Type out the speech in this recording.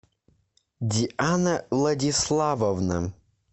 диана владиславовна